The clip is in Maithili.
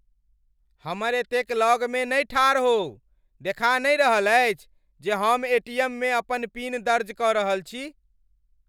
हमर एतेक लगमे नहि ठाढ़ होउ। देखा नहि रहल अछि जे हम एटीएममे अपन पिन दर्ज क रहल छी?